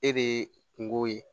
E de ye kungo ye